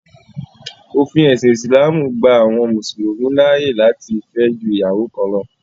Òfin ẹ̀sìn ìsìlámù gba àwọn mùsùlùmí láàyè láti fẹ́ ju ìyàwó kan lọ.